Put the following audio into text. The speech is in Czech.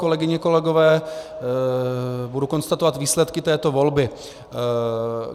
Kolegyně, kolegové, budu konstatovat výsledky této volby.